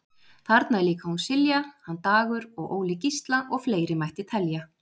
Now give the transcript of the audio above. Þarna er líka hún Silja, hann Dagur og Óli Gísla og fleiri mætti telja.